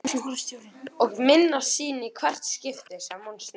Og minnast sín í hvert skipti sem hún snerti hann.